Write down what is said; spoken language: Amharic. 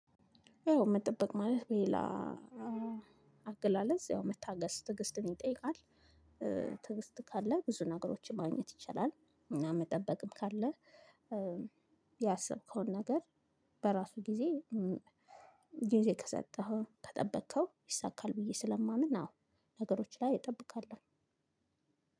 ያው መጠበቅ ማለት በሌላ አገላለጽ ያው መታገስ ትግስትን ይጠይቃል። ትዕግስት ካለ ብዙ ነገሮችን ማግኘት ይቻላል። መጠበቅም ካለ ያሰብከውን ነገር በራሱ ጊዜ ጊዜ ከሰጠኸው ከጠበከው ይሳካል። ብዬ ስለማምን አዎ ነገሮች ላይ እጠብቃለሁ።